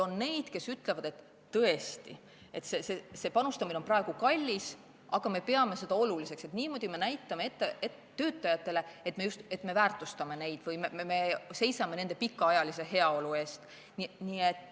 On neid, kes ütlevad, et tõesti, see panustamine on praegu kallis, aga nad peavad seda oluliseks, niimoodi nad näitavad töötajatele, et nad väärtustavad neid või seisavad töötajate pikaajalise heaolu eest.